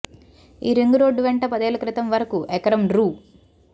ఈ ring road వెంట పదేళ్ల క్రితం వరకు ఎకరం రూ